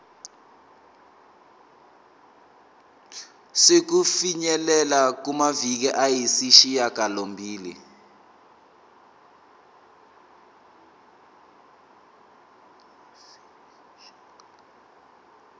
sokufinyelela kumaviki ayisishagalombili